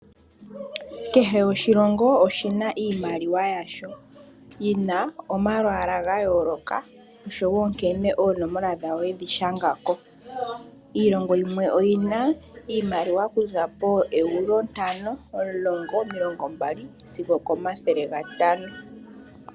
Kehe oshilongo oshina iimaliwa yasho yina omalwaala ga yooloka oshowo nkene oonola dhaawo yedhi shangako. iilongo yimwe oyina iimaliwa okuza poo Euro ntano ,omulongo, omilongombali sigo okomathele gatano